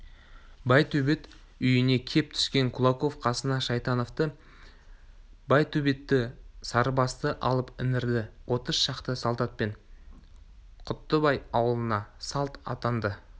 байтөбет үйіне кеп түскен кулаков қасына шайтановты байтөбетті сарыбасты алып іңірде отыз шақты солдатпен құттыбай аулына салт аттанды